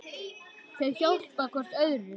Þau hjálpa hvort öðru.